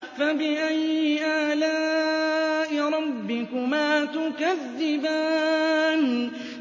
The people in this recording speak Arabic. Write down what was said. فَبِأَيِّ آلَاءِ رَبِّكُمَا تُكَذِّبَانِ